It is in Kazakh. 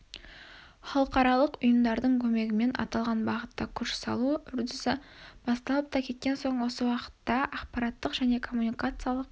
халықаралық ұйымдардың көмегімен аталған бағытта күш салу үрдісі басталып та кеткен осы уақытта ақпараттық және коммуникациялық